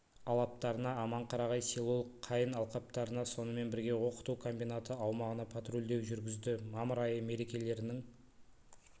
алаптарына аманқарағай селолық қайын алқаптарына сонымен бірге оқыту комбинаты аумағына патрульдеу жүргізді мамыр айы мерекелерінің